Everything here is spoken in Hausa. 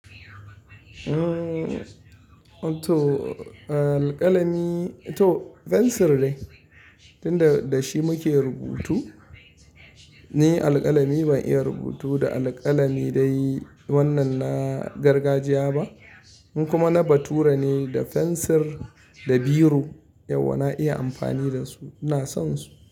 Umm, to alkalami to fensir ne, tun da da shi muke rubutu. Ni alkalami ban iya rubutu da alkalami dai wannan na gargajiya ba. Ni kuma na bature ne da fensir da biro, yauwa na iya amfani da su, ina son su.